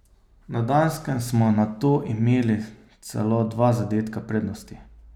Na Danskem smo nato imeli celo dva zadetka prednosti.